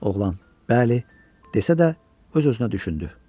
Oğlan bəli desə də öz-özünə düşündü: